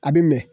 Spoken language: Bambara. A bɛ mɛn